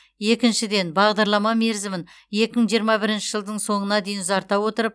екіншіден бағдарлама мерзімін екі мың жиырма бірінші жылдың соңына дейін ұзарта отырып